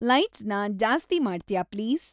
ಲೈಟ್ಸ್‌ನ ಜಾಸ್ತಿ ಮಾಡ್ತ್ಯಾ ಪ್ಲೀಸ್